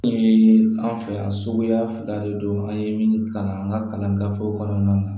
An fɛ yan suguya fila de don an ye min kalan an ka kalan gafew kɔnɔna na